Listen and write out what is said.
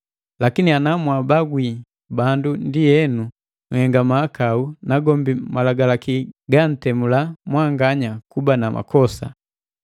Lakini ana mwaabagwi bandu ndienu, nhenga mahakau nagombi malagalaki gantemula mwanganya kuba na makosa.